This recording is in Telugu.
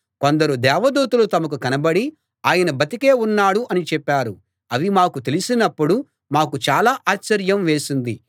కొందరు దేవదూతలు తమకు కనబడి ఆయన బతికే ఉన్నాడు అని చెప్పారు అని మాకు తెలిపినప్పుడు మాకు చాలా ఆశ్చర్యం వేసింది